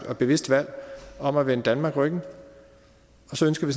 og bevidst valg om at vende danmark ryggen og så ønsker vi